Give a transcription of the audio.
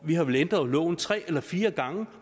vi har vel ændret loven tre eller fire gange